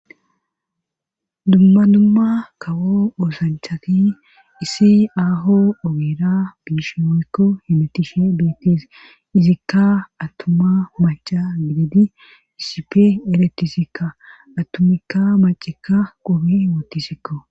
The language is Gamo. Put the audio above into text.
dumma dumma kawo oosanchati issi aaho ogeera biishi woykko hemetishe beettis izikka attuma maca gididi isipe eretisikka attumikka macikka qobi woottisikko